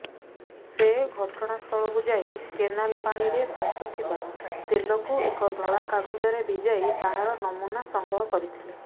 ସେ ଘଟଣାସ୍ଥଳକୁ ଯାଇକେନାଲ ପାଣିରେ ଭାସୁଥିବା ତେଲକୁ ଏକ ଧଳା କାଗଜରେ ଭିଜାଇ ତାହାର ନମୁନା ସଂଗ୍ରହ କରିଥିଲେ